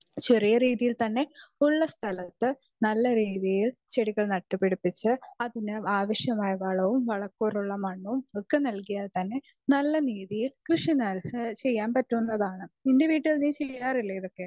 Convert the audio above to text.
Speaker 2 ചെറിയ രീതിയിൽ തന്നെ ഉള്ള സ്ഥലത്ത് നല്ല രീതിയിൽ ചെടികൾ നട്ടു പിടിപ്പിച്ച് അതിന് ആവശ്യമായ വളവും മണ്ണും ഒക്കെ നൽകിയാൽ തന്നെ നല്ല രീതിയിൽ കൃഷി ചെയ്യാൻ പറ്റുന്നതാണ്. നിന്റെ വീട്ടിൽ നീ ചെയാറില്ലേ ഇതൊക്കെ?